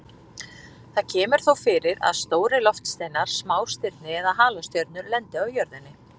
Það kemur þó fyrir að stórir loftsteinar, smástirni eða halastjörnur lendi á jörðinni.